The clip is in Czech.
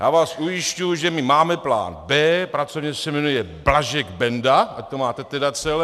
Já vás ujišťuji, že my máme plán B, pracovně se jmenuje Blažek - Benda, ať to máte tedy celé.